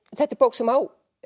þetta er bók sem á